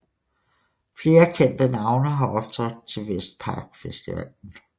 Flere kendte navne har optrådt til Vestpark Festivalen